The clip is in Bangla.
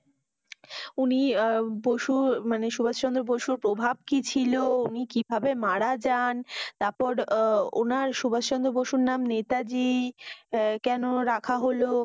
উনি আহ বসু মানি সুভাষ চন্দ্র বসুর প্রভাব কি ছিল? উনি কিভাবে মারা যান? তারপর আহ উনার সুভাষ চন্দ্র বসুর নাম কিভাবে নেতাজী আহ কেন রাখা হলো?